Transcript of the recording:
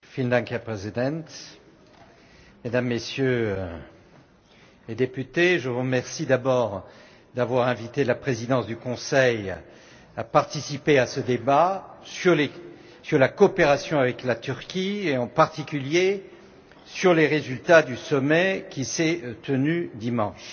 Monsieur le Président, Mesdames, Messieurs les députés, je vous remercie d'abord d'avoir invité la Présidence du Conseil à participer à ce débat sur la coopération avec la Turquie et en particulier sur les résultats du sommet qui s'est tenu dimanche.